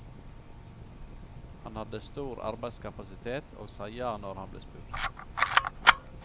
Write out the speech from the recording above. Han hadde stor arbeidskapasitet, og sa ja når han ble spurt.